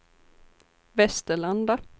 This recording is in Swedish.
Västerlanda